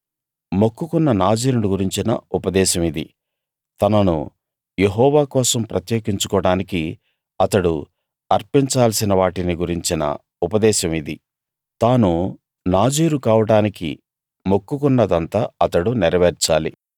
మొక్కుకున్న నాజీరును గురించిన ఉపదేశం ఇది తనను యెహోవా కోసం ప్రత్యేకించుకోడానికి అతడు అర్పించాల్సిన వాటిని గురించిన ఉపదేశం ఇది తాను నాజీరు కావడానికి మొక్కుకున్న దంతా అతడు నెరవేర్చాలి